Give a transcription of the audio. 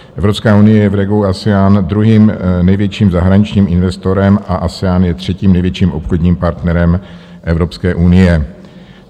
Evropská unie je v regionu ASEAN druhým největším zahraničním investorem a ASEAN je třetím největším obchodním partnerem Evropské unie.